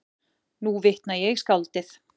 Nú vitna ég í skáldið